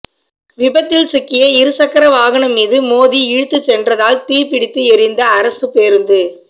விபத்தில் சிக்கிய இருசக்கர வாகனம் மீது மோதி இழுத்து சென்றதால் தீ பிடித்து எரிந்த அரசுப் பேருந்து